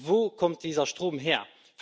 Doch wo kommt dieser Strom her?